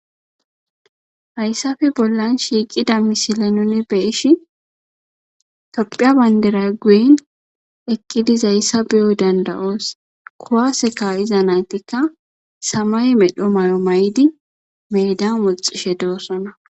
hayssafe bollan shiiqida misile nuni beeishi tophiya bayndera guen eqqidizaayssa beyo danda7oos kuwaseka iza naytikka samay medho mayo may7di medan moxishe doossona